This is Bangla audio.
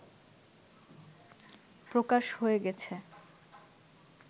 প্রকাশ হয়ে গেছে